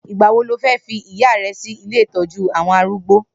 Nigbà wó ló fi ìyá rè si ilé itọ̀jú awọn àrúgbó?